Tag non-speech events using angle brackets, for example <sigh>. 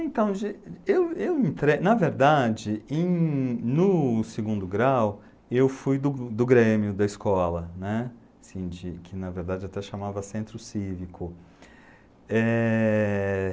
Então, <unintelligible> eu eu me entre, na verdade, em, no segundo grau, eu fui do do Grêmio da escola, né, assim de, que na verdade até chamava Centro Cívico. Eh...